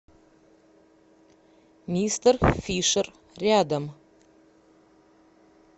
мистер фишер рядом